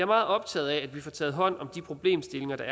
meget optaget af at vi får taget hånd om de problemstillinger der